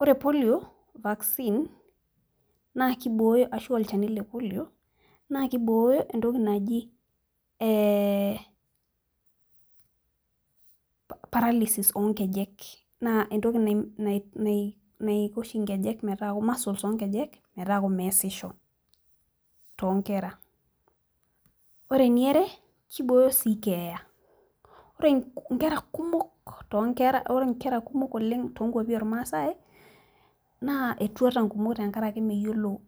Ore polio vaccine ashu olchani lepolio naa kibooyo entoki naji paralysis oongejek, entoki oshinaisho muscle oongejek metaa meesisho too nkera , ore eniare naa kiboyo sii keeya ore inkera kumok oleng' too inkuapi oormaasai naa etuata inkumok tenkaraki meyiolo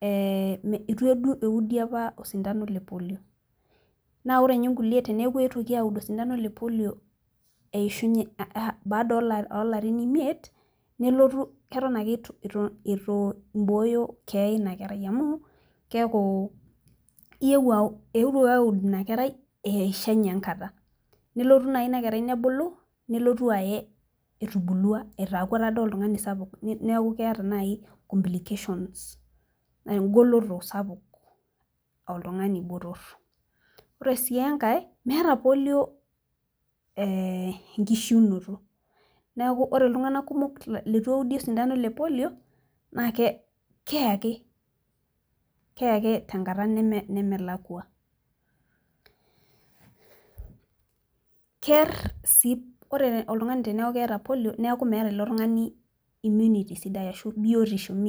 etu eeudi apa osindano lepolio naa iyiolo ninye inkulie tenepuonini aud osindano baada oolarin imiet keton ake etu ibooyo keeya eina kerai amu keeku etuoki aud inakerai eishunye enkata kelotu naaji inakerai nebulu nelotu aye etubulua , aaku taa dii oltung'ani sapu neeku keeta naaji inkuti complications ,wegoloto sapuk aa oltung'ani botor ore sii enkae meeta polio enkishunoto neeku ore itung'anak kumok letu eudi osintano lepolio naa keeye ake tenkata nemelakua ore pee eku meeta oltung'ani naa keeku meeta biotisho sidai.